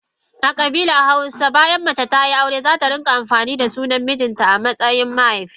A kabilar hausawa bayan mace tayi aure zata rika amfani da sunan mijinta amatsayin na mahaifinta.